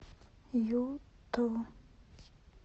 юту